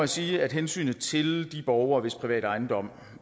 sige at hensynet til de borgere hvis private ejendom